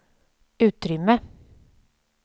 utrymme